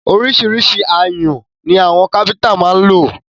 Ọríṣiríṣi ayùn ni àwọn káfíńńtà má ń lò.